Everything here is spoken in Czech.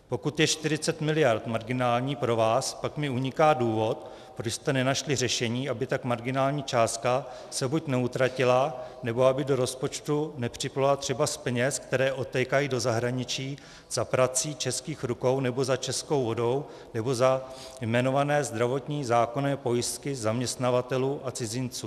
Pokud je 40 mld. marginální pro vás, pak mi uniká důvod, proč jste nenašli řešení, aby tak marginální částka se buď neutratila, nebo aby do rozpočtu nepřiplula třeba z peněz, které odtékají do zahraničí za prací českých rukou nebo za českou vodou nebo za jmenované zdravotní zákonné pojistky zaměstnavatelů a cizinců.